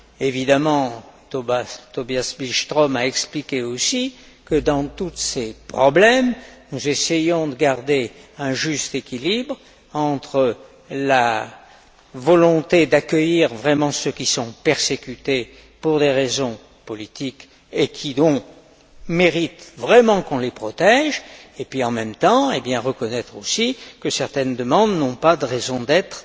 Évidemment, Tobias Billström a expliqué aussi que, dans tous ces problèmes, nous essayons de garder un juste équilibre entre la volonté d'accueillir ceux qui sont persécutés pour des raisons politiques et qui méritent vraiment qu'on les protège, et puis en même temps la nécessité de reconnaître aussi que certaines demandes n'ont pas de raison d'être